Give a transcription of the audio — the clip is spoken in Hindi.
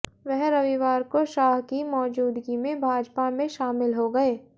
वह रविवार को शाह की मौजूदगी में भाजपा में शामिल हो गए